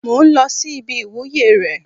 Mò ń lọ sí ibi ìwúyè rẹ̀